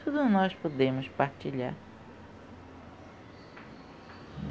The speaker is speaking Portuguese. Tudo nós podemos partilhar.